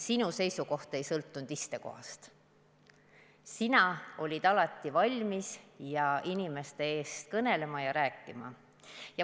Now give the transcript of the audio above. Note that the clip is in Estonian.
Sinu seisukoht ei sõltunud istekohast, sina olid alati valmis inimeste eest kõnelema ja rääkima.